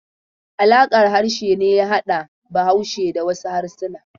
Alaƙar harshe ne ya hada Bahaushe da wasu harsuna.